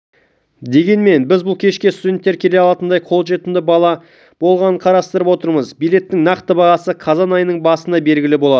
дегенмен біз бұл кешке студенттер де келе алатындай қолжетімді баға болғанын қарастырып отырмыз билеттің нақты бағасы қазан айының басында белгілі болады